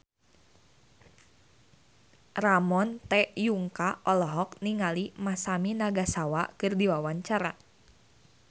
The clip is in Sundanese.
Ramon T. Yungka olohok ningali Masami Nagasawa keur diwawancara